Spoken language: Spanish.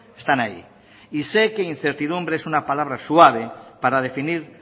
están ahí y sé que incertidumbre es una palabra suave para definir